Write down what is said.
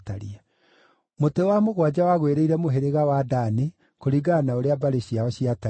Mũtĩ wa mũgwanja wagwĩrĩire mũhĩrĩga wa Dani, kũringana na ũrĩa mbarĩ ciao ciatariĩ.